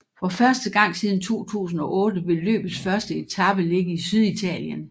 For første gang siden 2008 vil løbets første etape ligge i Syditalien